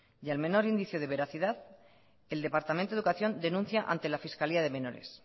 y al menor indicio de veracidad el departamento de educación denuncia ante la fiscalía de menores